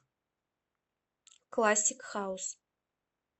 классик хаус